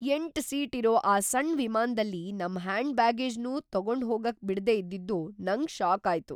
ಎಂಟು ಸೀಟ್ ಇರೋ ಆ ಸಣ್ ವಿಮಾನ್ದಲ್ಲಿ ನಮ್ ಹ್ಯಾಂಡ್ ಬ್ಯಾಗೇಜ್ನೂ ತಗೊಂಡ್ಹೋಗಕ್‌ ಬಿಡ್ದೇ ಇದ್ದಿದ್ದು ನಂಗ್‌ ಷಾಕ್‌ ಆಯ್ತು.